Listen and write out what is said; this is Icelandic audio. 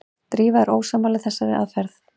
Drífa er ósammála þessari aðferð.